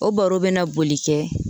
O baro bɛ na boli kɛ